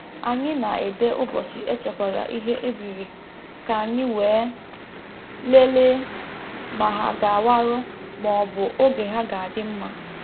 Anyị na-ede ụbọchị e chekwara ihe e biri ka anyị wee lelee ma ha ga-awarụ ma ọ bụ oge ha ga-adị mma.